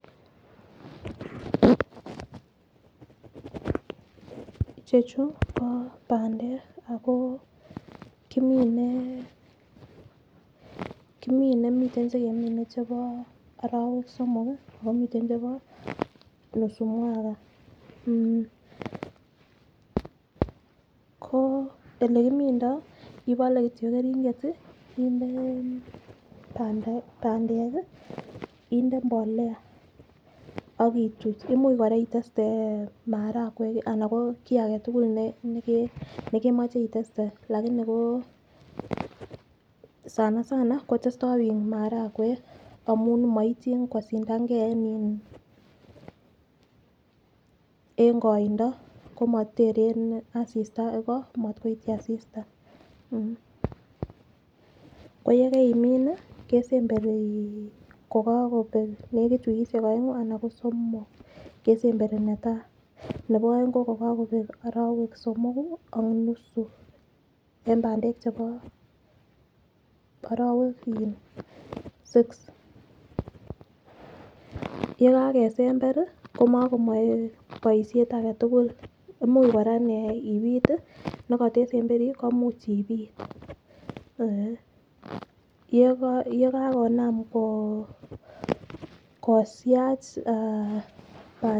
chechu ko pandek akoo kimine kimine miten chekemine chebo orowek somok kii ako miten chebo nusu mwaka mmh ko olekimindo ipole. Kityok keringet tii inde pandek kii inde mbolea akituch imuch koraa itetes marakwek alan ko kii agetukul ne nekemoche iteste lakini ko sana sana ko testo bik maragwek amun koityin kosindangee en iin en koindo komoteren asista iko motkoityi asista iko yekeimin nii kesemberi kokokopek nekit wikishek oengu anan ko somok kesemberi netai, nebo oengi ko kokokobek orowek somoku ak nusu en pandek chebo orowek in six. Yekakesemberi kimokomoi boishet agetukul imuch koraa inee ipit tii nekotesemberi komuche ipit, yekakonam koo kosiach aah pandiat.